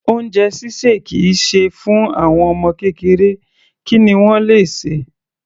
Oúnjẹ ṣíṣè kì í ṣe fún àwọn ọmọ kékeré, kí ni wọ́n le sè?